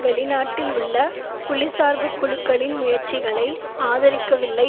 வெளிநாட்டில் உள்ள புலிசார்பு குழுக்களின் முயற்சிகளை ஆதரிக்கவில்லை